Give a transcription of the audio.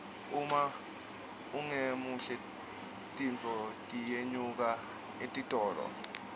uma ungemuhle tinfo tiyenyuka etitolo